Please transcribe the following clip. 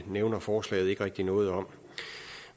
nævner forslaget ikke rigtig noget om